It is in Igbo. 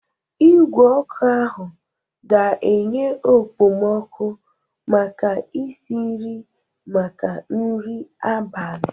Igwe ọkụ ahụ ga-enye okpomọkụ maka isi nri maka nri abalị.